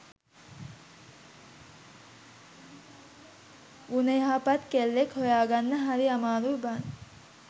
ගුණයහපත් කෙල්ලෙක් හොයාගන්න හරි අමාරුයි බං